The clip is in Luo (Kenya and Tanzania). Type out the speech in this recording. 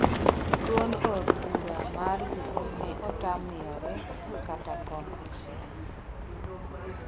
duond od bura mar jubilee ne otam miyore kata kom achiel